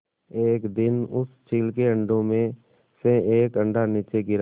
एक दिन उस चील के अंडों में से एक अंडा नीचे गिरा